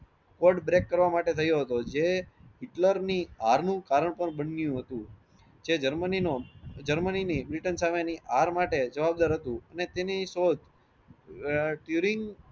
code break કરવામાટે થયો હતો જે હિટલરની હાર નુ કારણ પણ બન્યું હતું જે ગેરમાન્ય નો ગેરમાન્યની બ્રિટન સમયની હાર માટે જવાબદાર હતું ને તેની શોધ આહ